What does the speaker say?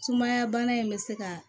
Sumaya bana in bɛ se ka